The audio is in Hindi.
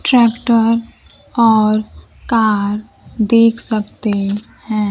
ट्रैक्टर और कार देख सकते हैं।